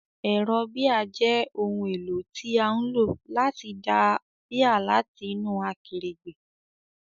Ẹ̀rọ bíà jẹ́ ohun èlò tí a ń lò láti da bíà láti inú akèrègbè.